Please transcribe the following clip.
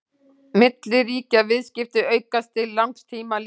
milliríkjaviðskipti aukast til langs tíma litið